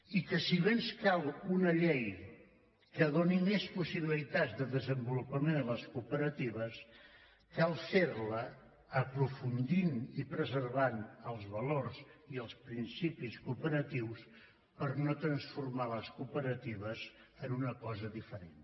i que si bé ens cal una llei que doni més possibilitats de desenvolupament de les cooperatives cal fer la aprofundint i preservant els valors i els principis cooperatius per no transformar les cooperatives en una cosa diferent